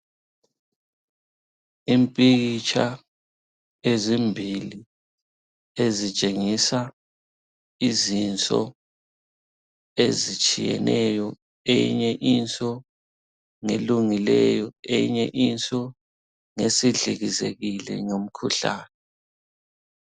Impikitsha ezimbili ezitshengisa izinso ezitshiyeneyo. Eyinye inso ngelungileyo, eyinye inso ngesidlikizekile ngomkhuhlane.